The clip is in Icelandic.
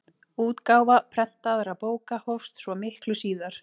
Útgáfa prentaðra bóka hófst svo miklu síðar.